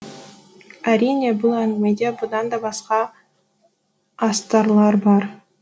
әрине бұл әңгімеде бұдан да басқа астарлар бар